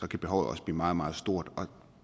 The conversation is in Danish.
kan behovet også blive meget meget stort og